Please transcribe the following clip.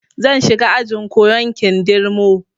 Zan shiga ajin koyan kindirmo